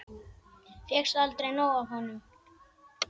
Fékkst aldrei nóg af honum.